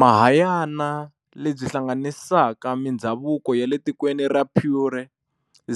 Mahayana, lebyi hlanganisaka mindzhavuko yale tikweni ra Pure,